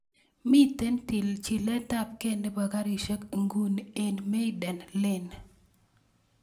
Miten chilet ap ge nepo garisiek inguni en maiden lane